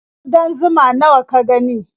Ƙudan zuma nawa ka gani?